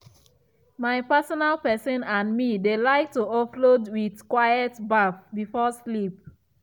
my personal person and me dey like to offload with quiet baff before sleep.